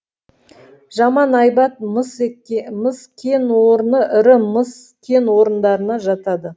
жаман айбат мыс кен орны ірі мыс кен орындарына жатады